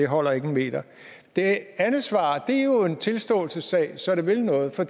holder ikke en meter det andet svar er jo en tilståelsessag så det vil noget for